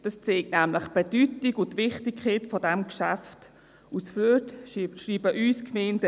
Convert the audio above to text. Das zeigt nämlich die Bedeutung und die Wichtigkeit dieses Geschäfts auf, denn die Gemeinden schreiben uns nicht aus Freude.